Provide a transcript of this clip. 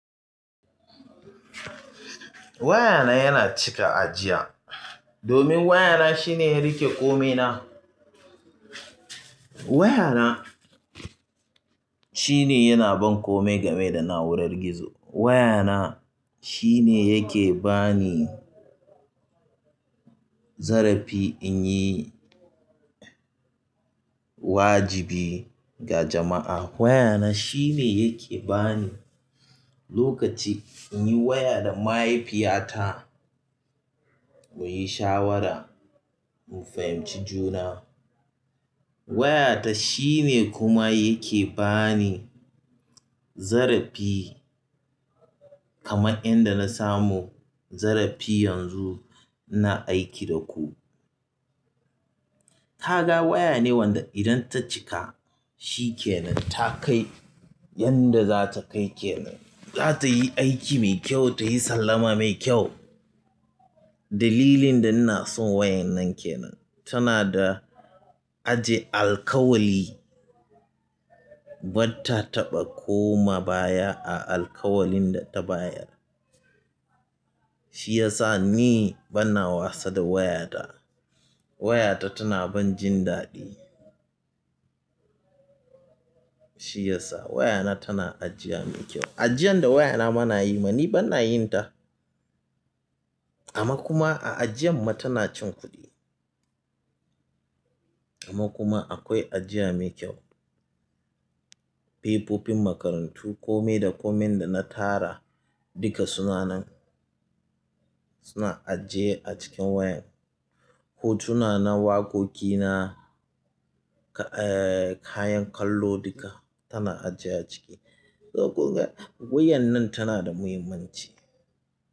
Wayana yana cika ajiya, domin wayana shine ya riƙe ƙomi na. Wayana shine yana ban kome game da na'urar gizo. Wayana shine yake bani zarafi in yi wajibi ga jama'a. Wayana shine yake bani lokaci in yi waya da mahaifiyata muyi shawara, mu fahimci juna. Wayata shine kuma yake bani zarafi kamar inda na samu zarafi yanzu ina aiki da ku. Ka ga waya ne wanda idan ta cika shikenan ta kai yanda za ta kai kenan. Za ta yi aiki mai kyau, ta yi sallama mai kyau. Dalilin da ina son wayan nan kenan tana da ajiye alkawali. Batta taɓa koma baya a alkawalin da ta bayar. Shi ya sa ni bana wasa da wayata. Wayata tana ban jin daɗi. Shi ya sa wayana tana ajiya mai kyau. Ajiyan da wayana bana yi ma ni bana yin ta. Amma kuma a ajiyan ma tana cin kuɗi. Amma kuma akwai ajiya mai kyau. Fefofin makarantu, kome da komin da na tara duka suna nan, suna ajiye a cikin wayan. Hotuna na waƙoƙi na, eh, kayan kallo duka tana ajiye a ciki. Daga gogewa wayan nan tana da muhimmanci.